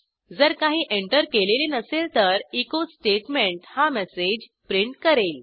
जर काही एंटर केलेले नसेल तर एचो स्टेटमेंट हा मेसेज प्रिंट करेल